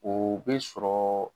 O bɛ sɔrɔ